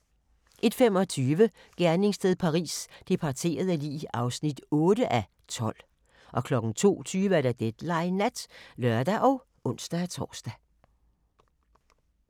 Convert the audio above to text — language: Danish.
01:25: Gerningssted Paris: Det parterede lig (8:12) 02:20: Deadline Nat (lør og ons-tor)